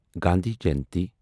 Gandhi Jayanti